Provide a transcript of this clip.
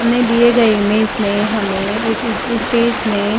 हमने दिए गए इमेज में हमें एक स्टेज में --